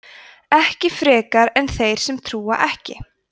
ekki frekar en þeir sem trúa ekki